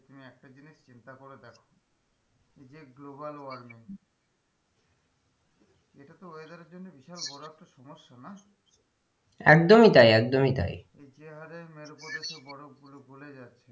এইযে global warming এটাতো weather এর জন্য বিশাল বড়ো একটা সমস্যা না একদমই তাই একদমই তাই যেহারে মেরু প্রদেশের বরফগুলো গলে যাচ্ছে,